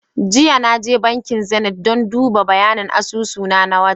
Jiya Naje bankin Zenith dan duba bayanin asusu na, na wata